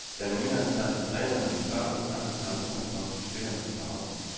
Den nyansatte træner vil først og fremmest tage udgangspunkt i spillernes behov.